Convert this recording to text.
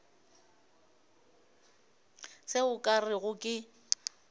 se o ka rego ke